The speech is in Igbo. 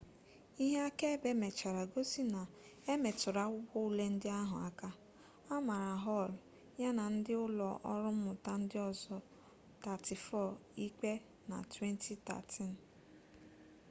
ihe akaebe mechara gosi na emetụrụ akwụkwọ ule ndị ahụ aka a mara hall ya na ndị ụlọ ọrụ mmụta ndị ọzọ 34 ikpe na 2013